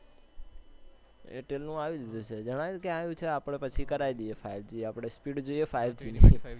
airtel નું આવી ગયું છે, ગણાય ક્યાં આવી ગયું છે? આપને પછી કરાવી દઈએ FiveG આપને speed જોઈએ FiveG ની